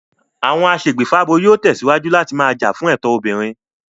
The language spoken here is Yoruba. Àwọn aṣègbèfábo yóò tẹ̀síwájú láti máa jà fún ẹ̀tọ́ obìnrin